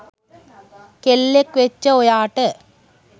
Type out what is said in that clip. කෙල්ලෙක් වෙච්ච ඔයාට